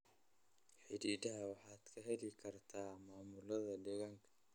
Xidhiidhada waxaad ka heli kartaa maamulada deegaanka.